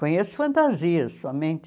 Conheço fantasia somente.